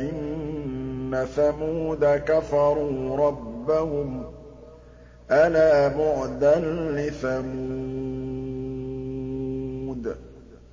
إِنَّ ثَمُودَ كَفَرُوا رَبَّهُمْ ۗ أَلَا بُعْدًا لِّثَمُودَ